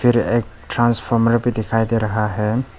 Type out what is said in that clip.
फिर एक ट्रांसफार्मर भी दिखाई दे रहा है।